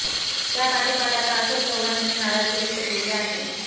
त्यापाठोपाठ आता अशोक चव्हाण यांनी नाराजी व्यक्त केली आहे